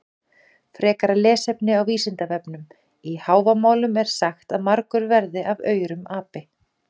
Frekara lesefni á Vísindavefnum: Í Hávamálum er sagt að margur verði af aurum api.